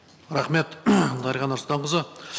рахмет дариға нұрсұлтанқызы